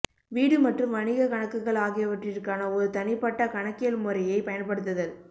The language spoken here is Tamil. வீடு மற்றும் வணிகக் கணக்குகள் ஆகியவற்றிற்கான ஒரு தனிப்பட்ட கணக்கியல் முறையைப் பயன்படுத்துதல்